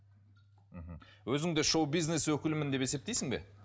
мхм өзіңді шоу бизнес өкілімін деп есептейсің бе